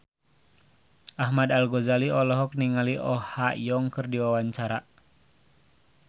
Ahmad Al-Ghazali olohok ningali Oh Ha Young keur diwawancara